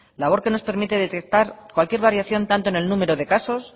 labor que nos permite detectar cualquier variación tanto en el número de casos